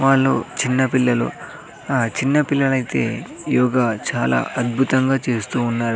వాళ్లు చిన్నపిల్లలు ఆ చిన్న పిల్లలయితే యోగ చాలా అద్భుతంగా చేస్తూ ఉన్నారు.